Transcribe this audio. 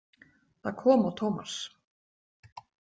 Það kom á Tómas.